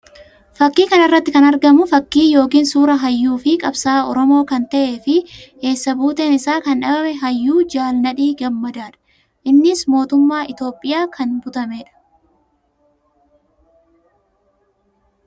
Fakkii kana irratti kan argamu fakkii yookiin suuraa hayyuu fi qabsaa'aa Oromoo kan ta'ee fi eessa buuteen isaa kan dhabme hayyuu Jaal Nadhii Gammadaa dha. Innss mootummaa Itoophiyaan kan butamee dha.